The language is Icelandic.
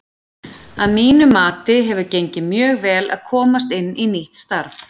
Að mínu mati hefur gengið mjög vel að komast inn í nýtt starf.